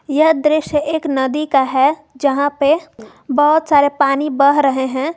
यह दृश्य एक नदी का है जहां पे बहुत सारे पानी बह रहे हैं।